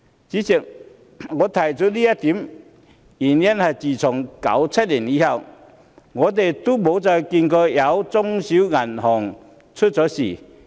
主席，我提出這一點的原因是，自1997年後，我們再也沒有看見中小型銀行出現問題。